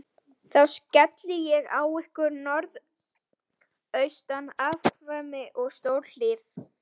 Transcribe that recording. Þá skelli ég á ykkur norðaustan aftakaveðri og stórhríð.